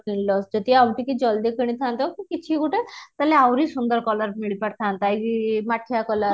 କିଣିଲ ଯଦି ଆଉ ଟିକେ ଜଲଦି କିଣିଥାନ୍ତ କି କିଛି ଗୋଟାଏ ତାହାଲେ ଆହୁରି ସୁନ୍ଦର color ମିଳିପାରିଥାନ୍ତା ଏଇ ମାଟିଆ color